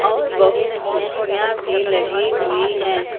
और बहुत कुर्सियां भी लगी हुई है।